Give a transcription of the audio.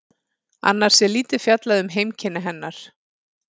Annars er lítið fjallað um heimkynni hennar.